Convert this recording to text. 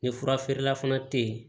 Ni fura feerela fana te yen